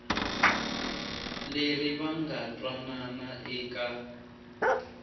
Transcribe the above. leri va nga twanana eka